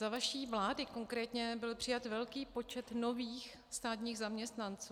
Za vaší vlády konkrétně byl přijat velký počet nových státních zaměstnanců.